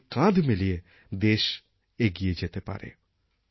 কাঁধে কাঁধ মিলিয়ে দেশ এগিয়ে যেতে পারে